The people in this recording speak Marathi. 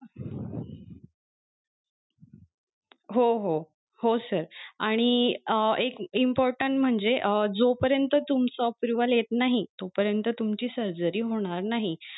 हो हो हो sir आणि अं एक important म्हणजे अं जोपरीयंत तुमचं approval येत नाही तो पर्यंत तुमची surgery होणार नाही.